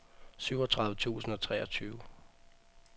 syvogtredive tusind og treogtyve